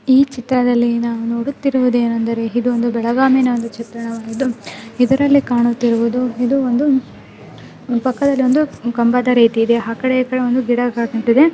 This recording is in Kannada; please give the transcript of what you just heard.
ಈ ಚಿತ್ರದಲ್ಲಿ ನಾವು ನೋಡುತ್ತಿರಿವುದೇನೆಂದರೆ ಇದೊಂದು ಒಂದು ಚಿತ್ರಣವಾಗಿದ್ದು ಇದರಲ್ಲಿ ಕಾಣುತ್ತಿರುವುದು ಇದು ಒಂದು ಪಕ್ಕದಲ್ಲಿ ಒಂದು ಕಂಬದ ರೀತಿಯಲ್ಲಿದೆ ಆ ಕಡೆ ಈ ಕಡೆ ಗಿಡಗಂಟಿದೆ.